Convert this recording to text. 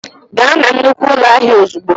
Gaa na nnukwu ụlọ ahịa ozugbo.!